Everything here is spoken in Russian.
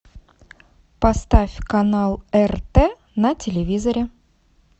поставь канал рт на телевизоре